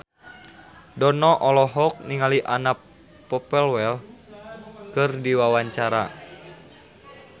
Dono olohok ningali Anna Popplewell keur diwawancara